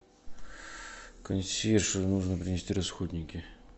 консьерж нужно принести расходники